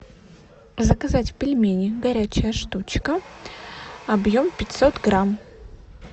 заказать пельмени горячая штучка объем пятьсот грамм